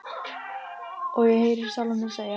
Og ég heyri sjálfa mig segja: